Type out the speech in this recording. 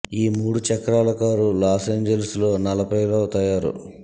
ఈ మూడు చక్రాల కారు లాస్ ఏంజిల్స్ లో నలభై లో తయారు